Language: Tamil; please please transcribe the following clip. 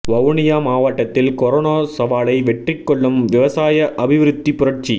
வவுனியா மாவட்டத்தில் கொரோனா சவாலை வெற்றி கொள்ளும் விவசாய அபிவிருத்தி புரட்சி